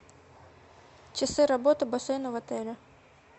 часы работы бассейна в отеле